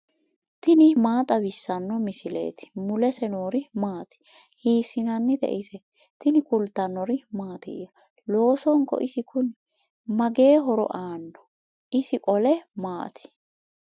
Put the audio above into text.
tini maa xawissanno misileeti ? mulese noori maati ? hiissinannite ise ? tini kultannori mattiya? loosonko isi kunni? magee horo aanno? isi qole maati?